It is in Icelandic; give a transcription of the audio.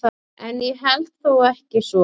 En ég held þó ekki svo.